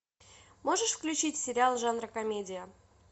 можешь включить сериал жанра комедия